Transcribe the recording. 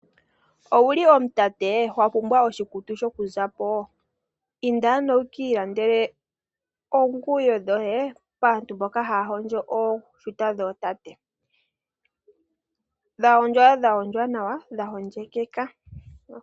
Owu li omutate, wa pumbwa oshikutu sho ku za po? Inda ano wu kiilandele oonguwo dhoye kaantu mboka haya hondjo ooshuta dhootate, dha hondjwa nawa dha hondjekeka.